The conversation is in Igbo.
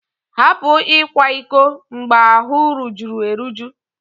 Hapụ ịkwa iko mgbe ahụ rujuru eruju!